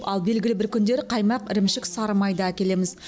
ал белгілі бір күндері қаймақ ірімшік сары май да әкелеміз